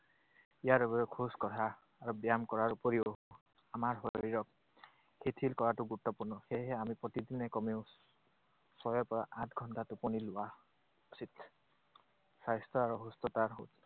ইয়াৰ বাবে খোজ কঢ়া আৰু ব্যায়াম কৰাৰ উপৰিও আমাৰ শৰীৰক শিথিল কৰাটো গুৰুত্বপূৰ্ণ। সেয়েহে আমি প্ৰতিদিনে কমেও ছয়ৰ পৰা আঠ ঘণ্টা টোপনি যোৱা উচিত। স্বাস্থ্য আৰু সুস্থতাৰ